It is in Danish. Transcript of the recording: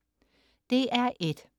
DR1: